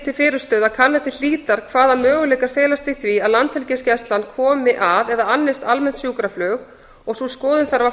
til fyrirstöðu að kanna til hlítar hvaða möguleikar felast í því að landhelgisgæslan komi að eða annist almennt sjúkraflug og sú skoðun þarf að